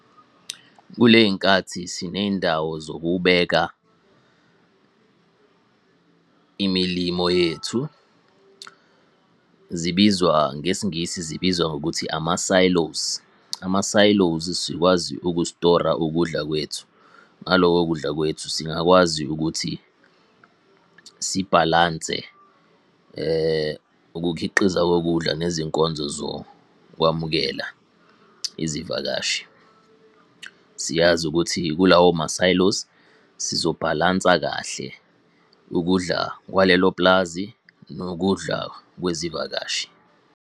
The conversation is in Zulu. Kuley'nkathi siney'ndawo zokubeka imilimo yethu. Zibizwa, ngesiNgisi zibizwa ngokuthi ama-Silos, Ama-Silos sikwazi ukustora ukudla kwethu. Ngaloko kudla kwethu singakwazi ukuthi, sibhalanse ukukhiqiza kokudla nezinkonzo zokwamukela izivakashi. Siyazi ukuthi kulawo ma-silos sizo bhalansa kahle ukudla kwalelo pulazi, nokudla kwezivakashi.